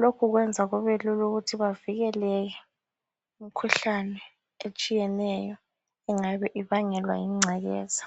Lokhu kwenza kubelul' ukuthi bavikeleke imkhuhlane etshiyeneyo engabe ibangelwa yingcekeza.